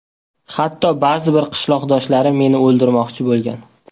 Hatto ba’zi bir qishloqdoshlarim meni o‘ldirmoqchi bo‘lgan.